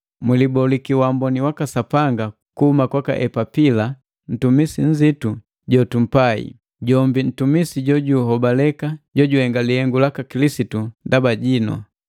Mwiliboliki wamboni waka Sapanga kuhuma kwaka Epapila, ntumisi nnzitu jotumpai, jombi ntumisi jojuhobaleka jojuhenga lihengu laka Kilisitu ndaba jinu.